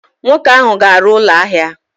Nwoke ahụ ga-arụ ụlọ ahịa!